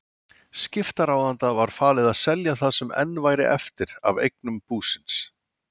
Skiptaráðanda var falið að selja það sem enn væri eftir af eignum búsins.